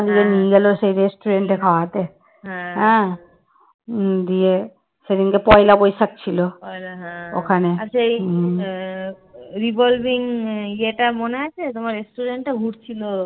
revolving এটা মনে আছে তোমার restaurant টা ঘুরছিল